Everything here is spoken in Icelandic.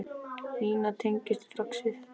Nína tengir strax við þetta.